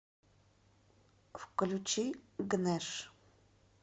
включи гнэш